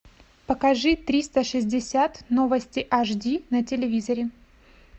покажи триста шестьдесят новости аш ди на телевизоре